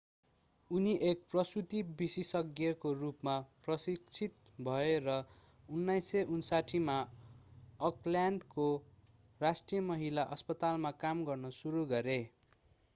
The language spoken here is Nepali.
उनी एक प्रसूति विशेषज्ञको रूपमा प्रशिक्षित भए र 1959 मा अकल्यान्डको राष्ट्रिय महिला अस्पतालमा काम गर्न सुरु गरे